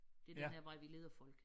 Det den her vej vi leder folk